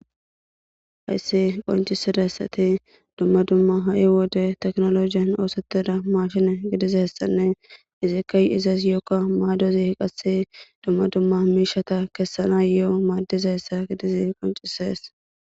hayssi qoncisidayssati dumma dumma ha7i wode teknologiyan oosetida mashine gidiza hessanne izikka y izees yookka maadozi qasse dumma dumma miishata kessana yo7o maaddiza hessa gidizi qoncisees